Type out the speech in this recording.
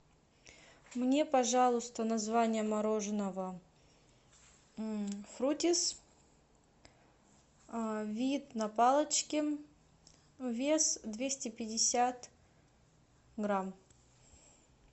мне пожалуйста название мороженого фрутис вид на палочке вес двести пятьдесят грамм